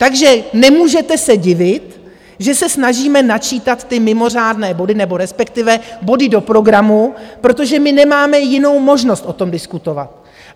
Takže nemůžete se divit, že se snažíme načítat ty mimořádné body, nebo respektive body do programu, protože my nemáme jinou možnost o tom diskutovat.